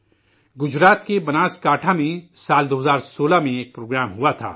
گجرات کے بناسکانٹھا میں سال 2016 میں ایک پروگرام کا انعقاد ہوا تھا